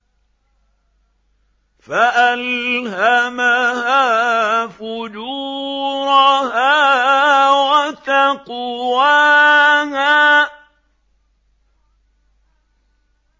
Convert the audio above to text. فَأَلْهَمَهَا فُجُورَهَا وَتَقْوَاهَا